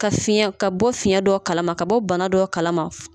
Ka fiyɛn ka bɔ fiyɛn dɔ kalama ka bɔ bana dɔ kalama